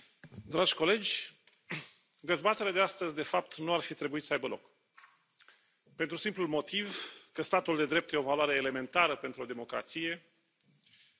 Doamna președintă, dragi colegi, dezbaterea de astăzi, de fapt, nu ar fi trebuit să aibă loc, pentru simplul motiv că statul de drept e o valoare elementară pentru o democrație